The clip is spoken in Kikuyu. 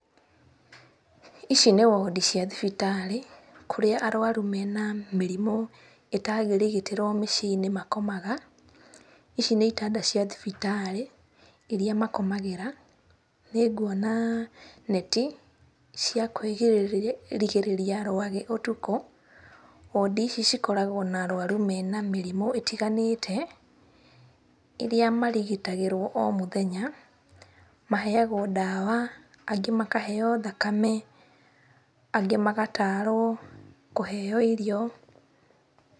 Ici nĩ wodi cia thibitarĩ kũrĩa arwaru mena mĩrĩmũ ĩtangĩrigitĩrwo mĩciĩ-inĩ makomaga, ici nĩ itanda cia thibitarĩ iria makomagĩra, nĩnguona neti cia kwĩgirĩrĩ cia kwĩrigĩrĩria rwagĩ ũtukũ, wodi ici cikoragwo na arwaru mena mĩrimũ ĩtiganĩte ĩria marigitagĩruo o mũthenya. Maheyagwo ndawa, angĩ makaheo thakame angĩ magatwarwo kũheyo irio.